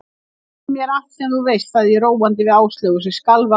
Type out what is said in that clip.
Segðu mér allt sem þú veist sagði ég róandi við Áslaugu sem skalf af æsingi.